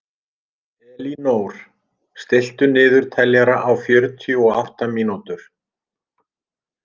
Elínór, stilltu niðurteljara á fjörutíu og átta mínútur.